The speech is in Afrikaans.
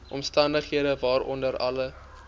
omstandighede waaronder alle